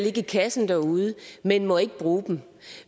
i kassen derude men ikke må bruge dem